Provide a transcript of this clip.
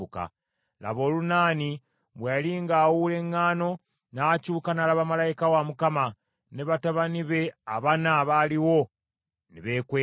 Laba Olunaani bwe yali ng’awuula eŋŋaano, n’akyuka n’alaba malayika wa Mukama , ne batabani be abana abaaliwo ne beekweka.